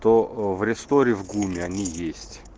то в ресторе в гуме они есть